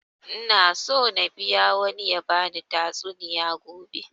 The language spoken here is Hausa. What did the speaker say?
Ina so na biya wani ya bani tatsuniya gobe